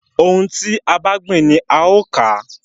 Ohun tí a bá gbìn ni a ó ò ká.